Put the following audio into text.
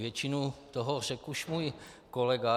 Většinu toho řekl už můj kolega.